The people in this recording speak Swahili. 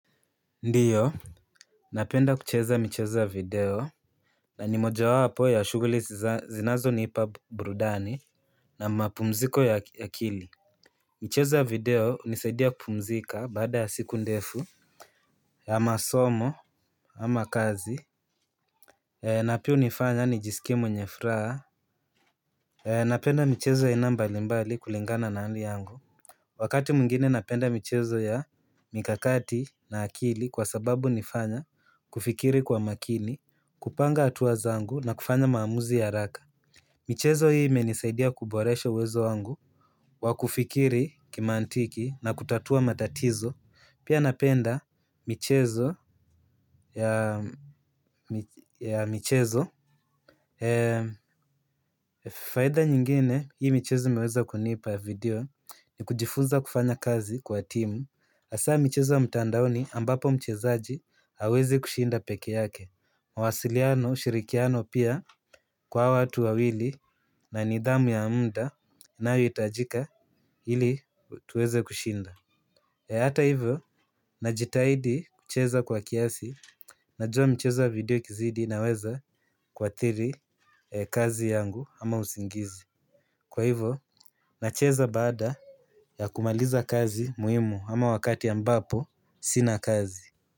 Ndiyo. Napenda kucheza michezo ya video na ni mojawapo ya shughuli zinazonipa burudani na mapumziko ya akili. Michezo ya video hunisaidia kupumzika baada ya siku ndefu. Ama somo ama kazi na pia hunifanya nijiskie mwenye furaha. Napenda michezo aina mbalimbali kulingana na hali yangu. Wakati mwingine napenda michezo ya mikakati na akili kwa sababu hunifanya kufikiri kwa makini, kupanga hatua zangu na kufanya maamuzi ya haraka. Michezo hii imenisaidia kuboresha uwezo wangu wa kufikiri kimantiki na kutatua matatizo. Pia napenda michezo ya faida nyingine hii michezo imeweza kunipa ya video, ni kujifuza kufanya kazi kwa timu hasaa michezo ya mtandaoni ambapo mchezaji hawezi kushinda peke yake. Mawasiliano, ushirikiano pia kwa hawa watu wawili na nidhamu ya muda inayohitajika ili tuweze kushinda. Hata hivyo, najitahidi kucheza kwa kiasi. Najua mchezo wa video ikizidi naweza kuathiri kazi yangu ama usingizi. Kwa hivyo, nacheza baada ya kumaliza kazi muhimu ama wakati ambapo sina kazi.